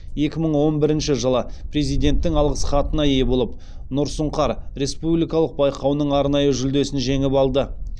екі мың он бірінші жылы президенттің алғыс хатына ие болып нұр сұңқар республикалық байқауының арнайы жүлдесін жеңіп алды